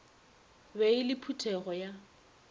be e le phuthego ya